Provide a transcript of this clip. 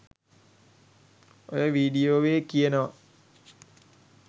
ඔය වීඩියෝවේ කියවෙනවා